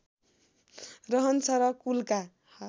रहन्छ र कुलका